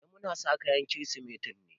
Eh muna sa kayan Kirsimeti ne.